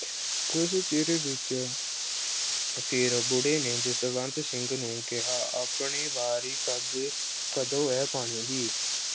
ਕੁੱਝ ਚਿਰ ਪਿੱਛੋਂ ਫਿਰ ਬੁੜੇ ਨੇ ਜਸਵੰਤ ਸਿੰਘ ਨੂੰ ਕਿਹਾ ਆਪਣੀ ਵਾਰੀ ਕਦ ਅਹ ਕਦੋਂ ਐ ਪਾਣੀ ਦੀ।